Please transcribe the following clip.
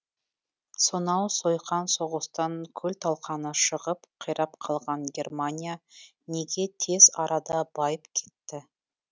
сонау сойқан соғыстан күл талқаны шығып қирап қалған германия неге тез арада байып кетті